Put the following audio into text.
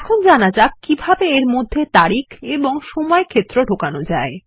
এখন জানা যাক কিভাবে এর মধ্যে তারিখ এবং সময় ক্ষেত্র ঢোকানো যায়